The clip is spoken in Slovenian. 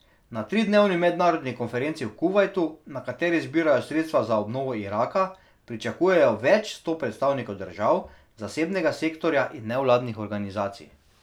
Na tridnevni mednarodni konferenci v Kuvajtu, na kateri zbirajo sredstva za obnovo Iraka, pričakujejo več sto predstavnikov držav, zasebnega sektorja in nevladnih organizacij.